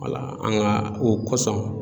an ka o kosɔn.